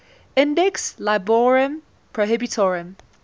index librorum prohibitorum